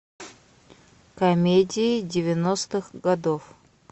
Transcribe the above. комедии девяностых годов